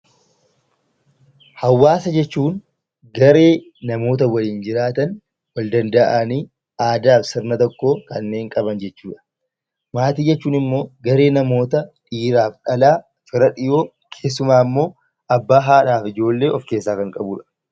Hawaasa jechuun garee namoota waliin jiraatan aadaa fi sirna tokko kanneen qaban jechuudha. Maatii jechuun immoo garee namoota dhiiraa fi dhalaa fira dhiyoo keessumaa immoo abbaa, haadhaa fi ijoollee kan of keessaa qabudha.